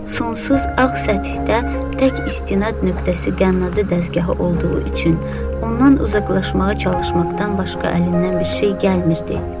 Sonsuz ağ səthdə tək istinad nöqtəsi qənnadı dəzgahı olduğu üçün, ondan uzaqlaşmağa çalışmaqdan başqa əlindən bir şey gəlmirdi.